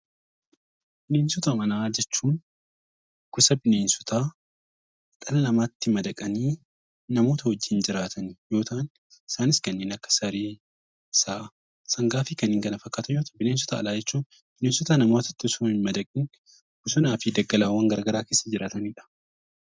Bineensota manaa jechuun gosa bineensotaa dhala namaatti madaqanii nama wajjin jiraatan yoo ta'an Isaanis kan akka saree, sa'a, sangaan fi kanneen kana fakkaatan yoo ta'u, bineensota alaa jechuun bineensota namatti osoo hin madaqiin bosonaa fi daggala garaagaraa keessa jiraatanidha .